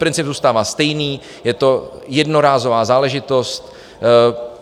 Princip zůstává stejný, je to jednorázová záležitost.